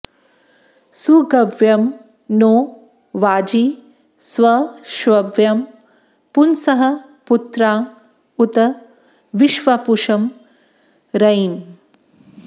सुगव्यं नो वाजी स्वश्व्यं पुंसः पुत्राँ उत विश्वापुषं रयिम्